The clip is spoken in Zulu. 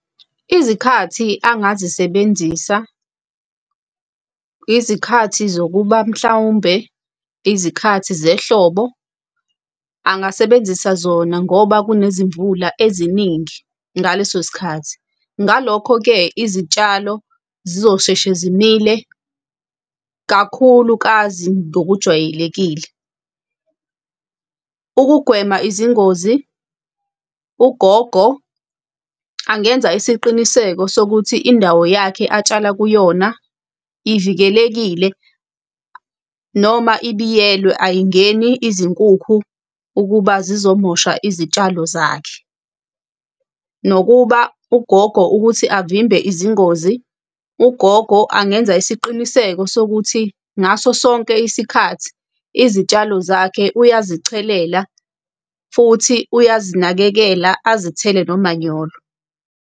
Izikhathi angazisebenzisa izikhathi zokuba mhlawumbe izikhathi zehlobo, angasebenzisa zona ngoba kunezimvula eziningi ngaleso sikhathi. Ngalokho-ke izitshalo zizosheshe zimile kakhulukazi ngokujwayelekile. Ukugwema izingozi, ugogo angenza isiqiniseko sokuthi indawo yakhe atshala kuyona ivikelekile noma ibiyelwe ayingeni izinkukhu ukuba zizomosha izitshalo zakhe. Nokuba ugogo ukuthi avimbe izingozi, ugogo angenza isiqiniseko sokuthi ngaso sonke isikhathi izitshalo zakhe uyazichelela futhi uyazinakekela, azithele nomanyolo.